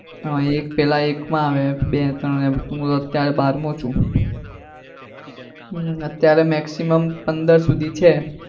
હમ એક પેલા એક માં આવે બે ત્રણ એવું હું અત્યારે બારમો છું. અત્યારે maximum પંદર સુધી આવે.